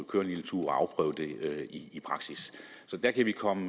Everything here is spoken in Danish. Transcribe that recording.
køre en lille tur og afprøve det i praksis så der kan vi komme